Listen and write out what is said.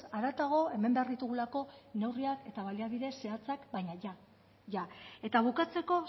haratago hemen behar ditugulako neurria eta baliabide zehatza baina jada eta bukatzeko